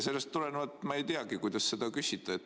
Sellest tulenevalt ma ei teagi, kuidas seda küsida.